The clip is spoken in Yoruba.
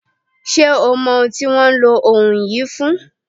Ṣé o mọ ohun tí wọ́n ń lo òù yìí fún?